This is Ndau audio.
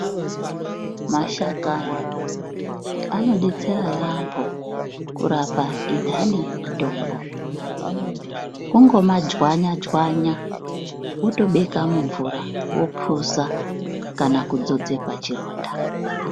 Mashakani anodetsera yaambo kurapa intani yemutombo. Kungoma dzwanya dzwanya wotobeka mumvura wopuza kana kudzodze pachironda.